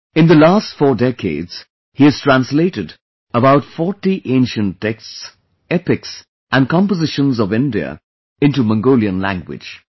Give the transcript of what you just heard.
In the last 4 decades, he has translated about 40 ancient texts, epics and compositions of India into Mongolian language